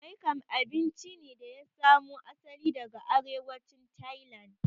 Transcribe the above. Maing kam abinci ne da ya samo asali daga arewacin Tailand